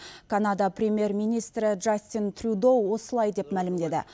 канада премьер министрі джастин трюдо осылай деп мәлімдеді